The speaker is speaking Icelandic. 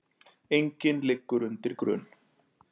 Enginn liggur undir grun